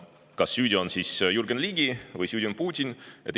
Kas süüdi on Jürgen Ligi või süüdi on Putin?